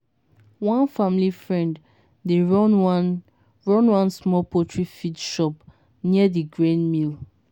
one family friend dey run one run one small poultry feed shop near di grain mill.